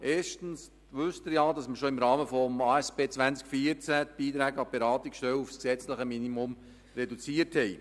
Erstens wissen Sie ja bereits, dass im Rahmen der ASP 2014 die Beiträge an die Beratungsstellen auf das gesetzliche Minimum reduziert wurden.